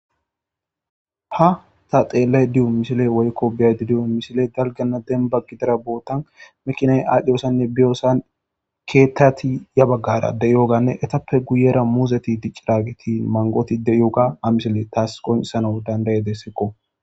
Ha ta xeellay diyu mishile woykko biyaydi diyu mishile galgana demba gidara bootan mekinay aadhdhiyosanne biyoosan keettati ya baggara de'yoganne etappe guyera muuzeti dicciraagiti mangoti de yoga amisile taas qonisano dandaye dessekko.